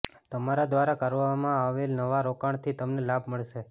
તમારા દ્વારા કરવામાં આવેલ નવા રોકાણથી તમને લાભ મળશે